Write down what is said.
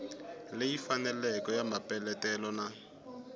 leyi faneleke ya mapeletelo na